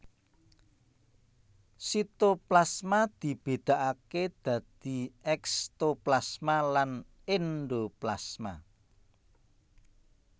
Sitoplasma dibédakaké dadi ékstoplasma lan éndoplasma